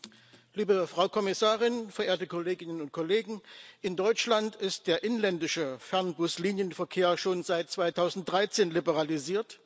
Frau Präsidentin, liebe Frau Kommissarin, verehrte Kolleginnen und Kollegen! In Deutschland ist der inländische Fernbus Linienverkehr schon seit 2013 liberalisiert.